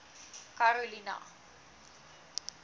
karolina